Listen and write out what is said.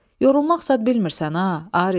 Yorulmaq zad bilmirsən ha, Arif.